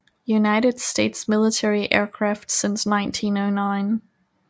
United States Military Aircraft since 1909